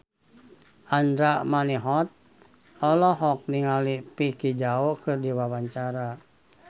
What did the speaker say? Andra Manihot olohok ningali Vicki Zao keur diwawancara